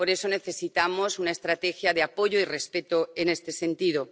Por eso necesitamos una estrategia de apoyo y respeto en este sentido.